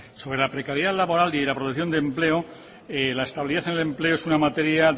sobre la precariedad laboral y la producción de empleo la estabilidad en el empleo no es una materia